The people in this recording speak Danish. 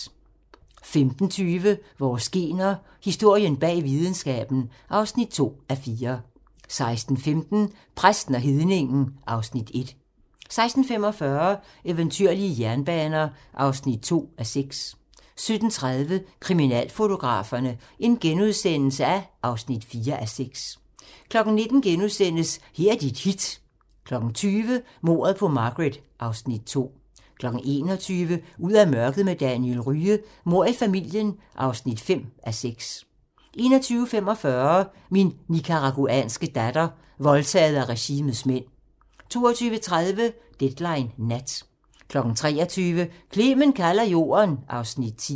15:20: Vores gener - historien bag videnskaben (2:4) 16:15: Præsten og hedningen (Afs. 1) 16:45: Eventyrlige jernbaner (2:6) 17:30: Kriminalfotograferne (4:6)* 19:00: Her er dit hit * 20:00: Mordet på Margaret (Afs. 2) 21:00: Ud af mørket med Daniel Rye - Mord i familien (5:6) 21:45: Min nicaraguanske datter - voldtaget af regimets mænd 22:30: Deadline Nat 23:00: Clement kalder jorden (Afs. 10)